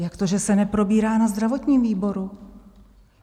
Jak to, že se neprobírá na zdravotním výboru?